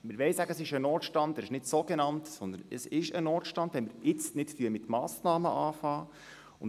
Wir wollen sagen, dass es ein Notstand ist, kein sogenannter Notstand, sondern ein Notstand, sofern wir jetzt nicht Massnahmen ergreifen.